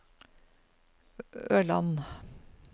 Ørland